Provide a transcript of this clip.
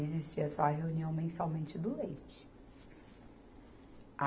Existia só a reunião mensalmente do leite. A